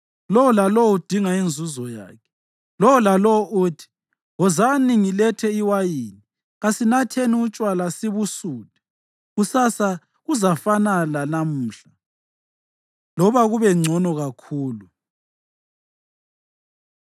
Lowo lalowo uthi, “Wozani, ngilethe iwayini. Kasinatheni utshwala sibusuthe. Kusasa kuzafana lanamuhla, loba kube ngcono kakhulu.”